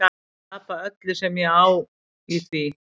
Tapa öllu sem ég á í því.